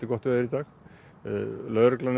gott veður í dag lögreglan er